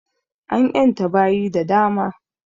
An ƴanta baƴi da dama